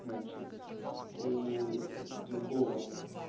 значит у другого